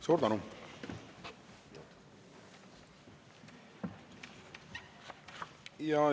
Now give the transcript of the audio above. Suur tänu!